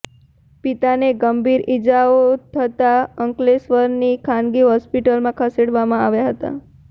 પિતાને ગંભીર ઇજાઓ થતાં અંકલેશ્વરની ખાનગી હોસ્પિટલમાં ખસેડવામાં આવ્યા હતા